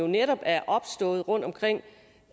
netop er opstået rundtomkring